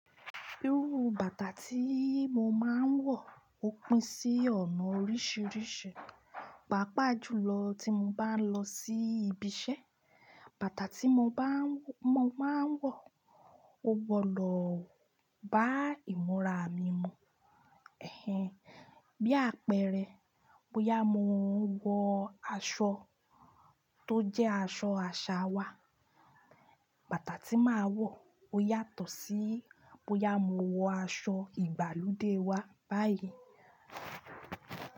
Irú bàtà tí mo máa ń wọ ò pin sí ọ̀nà oríṣiríṣi, pàápàá jùlọ tí mo bá ń lọ sí ibi iṣẹ́, bàtà tí mo máa ń wọ ò wọ̀ lọ bá ìmúra mi mu. Ẹ̀hẹ̀n! Bí àpẹẹrẹ, bóyá mo ń wọ aṣọ tó jẹ́ aṣọ àṣà wa, bàtà tí màá wọ̀ ó yàtọ̀ sí bóyá mo wọ aṣọ ìgbàlódé wa báyìí.